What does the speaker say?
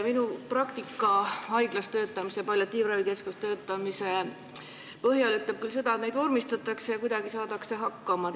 Minu praktika haiglas palliatiivravi keskuses töötamise ajal näitas küll seda, et neid soove vormistatakse ja kuidagi saadakse hakkama.